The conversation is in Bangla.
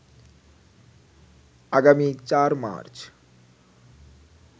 আগামী ৪ মার্চ